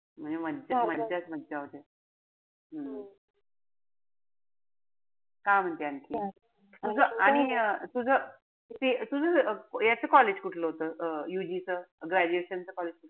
मज्जाच मजा होते. हम्म काय म्हणते आणखी. अग आणि अं तुझं तुझं तुझं याच college कुठलंय? अं UG च, graduation च?